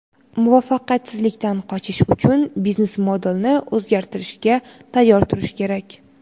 Muvaffaqiyatsizlikdan qochish uchun biznes-modelni o‘zgartirishga tayyor turish kerak.